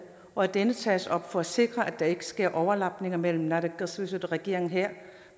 og at det tages op for at sikre at der ikke sker overlapninger mellem naalakkersuisut og regeringen her